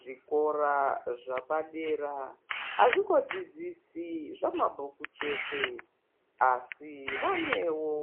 Zvikora zvapadera hazvingodzidzisi zvamabhuku chete, asi vanewo